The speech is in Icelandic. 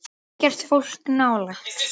Ekkert fólk nálægt.